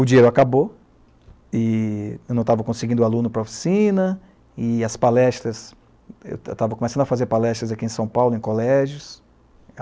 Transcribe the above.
O dinheiro acabou e eu não estava conseguindo aluno para a oficina e as palestras, eu estava começando a fazer palestras aqui em São Paulo, em colégios.